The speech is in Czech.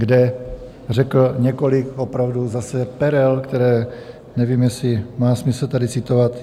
, kde řekl několik opravdu zase perel, které nevím, jestli má smysl tady citovat.